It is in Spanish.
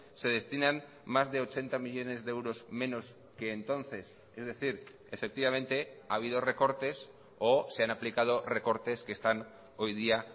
se destinan más de ochenta millónes de euros menos que entonces es decir efectivamente ha habido recortes o se han aplicado recortes que están hoy día